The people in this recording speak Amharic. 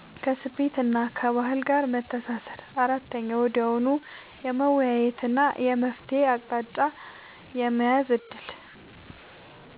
ከስሜትና ከባህል ጋር መተሳሰር 4. ወዲያውኑ የመወያየትና የመፍትሔ አቅጣጫ የመያዝ ዕድል